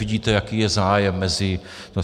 Vidíte, jaký je zájem mezi...